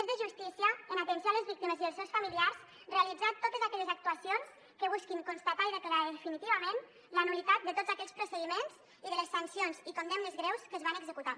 és de justícia en atenció a les víctimes i els seus familiars realitzar totes aquelles actuacions que busquin constatar i declarar definitivament la nul·litat de tots aquells procediments i de les sancions i condemnes greus que es van executar